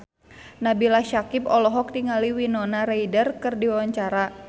Nabila Syakieb olohok ningali Winona Ryder keur diwawancara